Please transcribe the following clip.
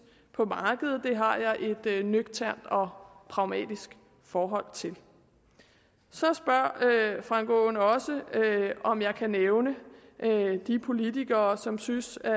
på markedet har jeg et et nøgternt og pragmatisk forhold til så spørger herre frank aaen også om jeg kan nævne de ikkepolitikere som synes jeg